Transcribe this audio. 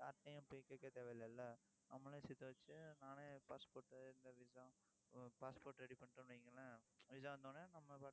யார்கிட்டயும் போய் கேட்க தேவையில்லைல்ல நம்மளே சேர்த்து வச்சு, நானே passport இந்த visa passport ready பண்ணிட்டோம்னு வையுங்களேன் visa வந்த உடனே, நம்ம பாட்டுக்கு